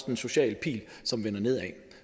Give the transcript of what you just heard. en social pil som vender nedad